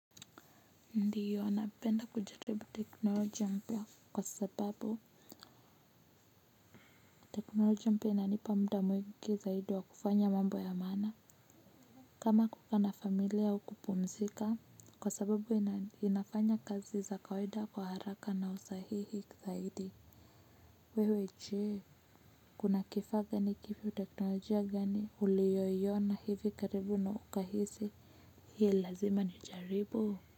Ndiyo napenda kujaribu teknolojia mpya kwa sababu teknolojia mpya inanipa muda mwingi zaidi wa kufanya mambo ya maana kama kukaa na familia au kupumzika kwa sababu inafanya kazi za kawaida kwa haraka na usahihi zaidi wewe je? Kuna kifaa gani kipi teknolojia gani ulioiona hivi karibu na ukahisi hii lazima niijaribu?